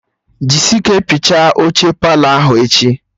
Jisi ike piachaa oche Palọ ahụ echi!